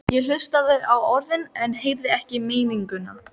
Ég hlustaði á orðin en heyrði ekki meininguna.